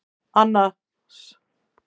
Annas